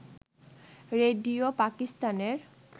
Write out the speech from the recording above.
radio পাকিস্তানের